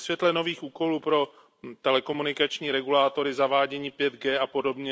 Ve světle nových úkolů pro telekomunikační regulátory, zavádění 5G apod.